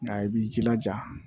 Nka i b'i jilaja